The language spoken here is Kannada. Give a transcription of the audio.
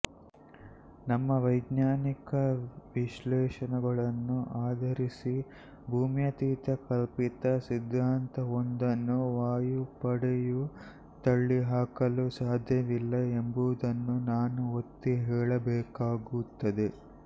ನಮ್ಮ ವೈಜ್ಞಾನಿಕ ವಿಶ್ಲೇಷಣೆಗಳನ್ನು ಆಧರಿಸಿ ಭೂಮ್ಯತೀತ ಕಲ್ಪಿತ ಸಿದ್ಧಾಂತವೊಂದನ್ನು ವಾಯುಪಡೆಯು ತಳ್ಳಿಹಾಕಲು ಸಾಧ್ಯವಿಲ್ಲ ಎಂಬುದನ್ನು ನಾನು ಒತ್ತಿ ಹೇಳಬೇಕಾಗುತ್ತದೆ